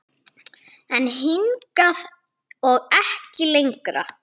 En hingað og ekki lengra.